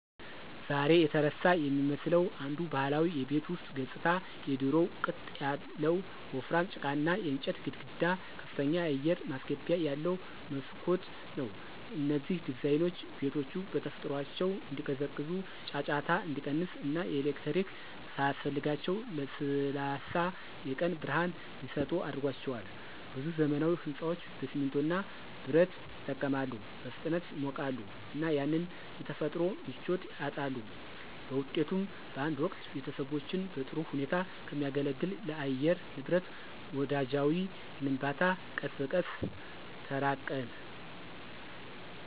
ዛሬ የተረሳ የሚመስለው አንዱ ባህላዊ የቤት ውስጥ ገጽታ የድሮው ቅጥ ያለው ወፍራም ጭቃና የእንጨት ግድግዳ ከፍተኛ አየር ማስገቢያ ያለው መስኮት ነው። እነዚህ ዲዛይኖች ቤቶቹ በተፈጥሯቸው እንዲቀዘቅዙ፣ ጫጫታ እንዲቀንስ እና ኤሌክትሪክ ሳያስፈልጋቸው ለስላሳ የቀን ብርሃን እንዲሰጡ አድርጓቸዋል። ብዙ ዘመናዊ ሕንፃዎች በሲሚንቶ እና በብረት ይጠቀማሉ, በፍጥነት ይሞቃሉ እና ያንን የተፈጥሮ ምቾት ያጣሉ. በውጤቱም፣ በአንድ ወቅት ቤተሰቦችን በጥሩ ሁኔታ ከሚያገለግል ለአየር ንብረት ወዳጃዊ ግንባታ ቀስ በቀስ ተራቅን።